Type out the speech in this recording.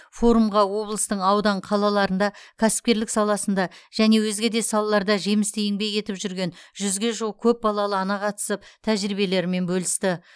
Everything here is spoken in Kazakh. форумға облыстың аудан қалаларында кәсіпкерлік саласында және өзге де салаларда жемісті еңбек етіп жүрген жүзге жуық көпбалалы ана қатысып тәжірибелерімен бөлісті